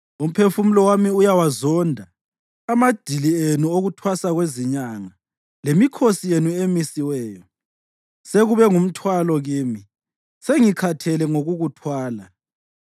Umphefumulo wami uyawazonda amadili enu okuthwasa kwezinyanga lemikhosi yenu emisiweyo. Sekube ngumthwalo kimi; sengikhathele ngokukuthwala.